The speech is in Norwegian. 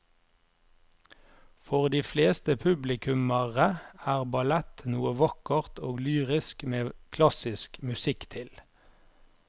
For de fleste publikummere er ballett noe vakkert og lyrisk med klassisk musikk til.